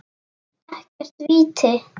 Ekkert víti.